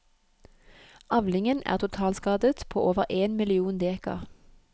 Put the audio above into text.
Avlingen er totalskadet på over én million dekar.